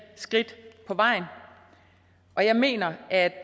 skridt på vejen og jeg mener at